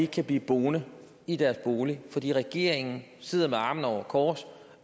kan blive boende i deres bolig fordi regeringen sidder med armene over kors